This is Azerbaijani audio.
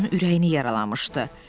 Bu onun ürəyini yaralamışdı.